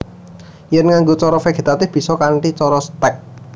Yèn nganggo cara vegetatif bisa kanthi cara stèk